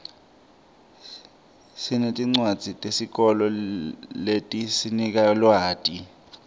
sinetincwadzi tesikolo letisinika lwati